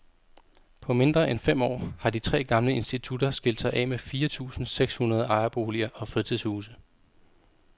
På mindre end fem år har de tre gamle institutter skilt sig af med fire tusinde seks hundrede ejerboliger og fritidshuse.